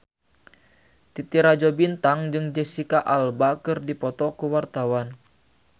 Titi Rajo Bintang jeung Jesicca Alba keur dipoto ku wartawan